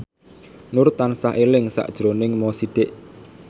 Nur tansah eling sakjroning Mo Sidik